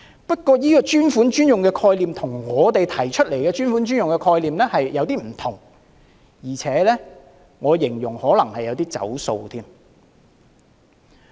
不過，這個"專款專用"的概念與我們提出的那個概念稍有不同，而且，我會說這可能有點"走數"之嫌。